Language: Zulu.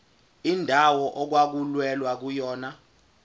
indawo okwakulwelwa kuyona